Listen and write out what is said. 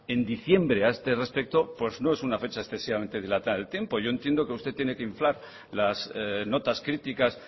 en diciembre a este respecto pues no es una fecha excesivamente dilatada en el tiempo yo entiendo que usted tiene que inflar las notas críticas